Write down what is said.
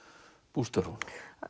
bústörfunum